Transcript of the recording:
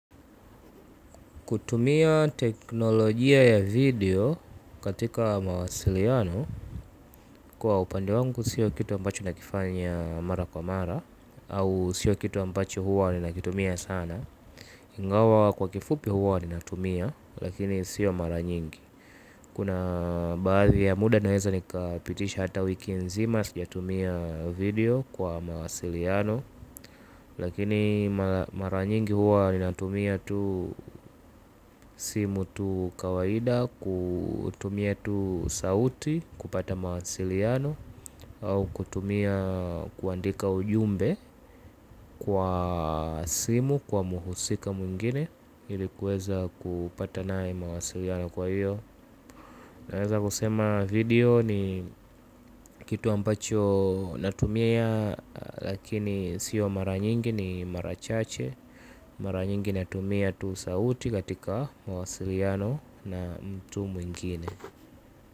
Kutumia teknolojia ya video katika mawasiliano kwa upande wangu sio kitu ambacho nakifanya mara kwa mara. Au sio kitu ambacho huwa ninakitumia sana. Ingawa kwa kifupi huwa ninatumia lakini sio mara nyingi. Kuna baadhi ya muda naheza nikapitisha hata wiki nzima sijatumia video kwa mawasiliano. Lakini mara nyingi huwa ninatumia tu simu tu kawaida kutumia tu sauti, kupata mawasiliano au kutumia kuandika ujumbe kwa simu kwa muhusika mwingine. Ilikuweza kupata nae mawasiliano kwa hiyo. Naweza kusema video ni kitu ambacho natumia. Lakini sio maranyingi ni marachache. Mara nyingi na tumia tu sauti katika mawasiliano na mtu mwingine.